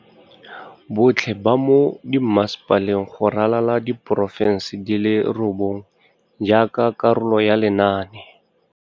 Botlhe ba mo dimmasepaleng go ralala diporofense di le robongwe jaaka karolo ya lenaane.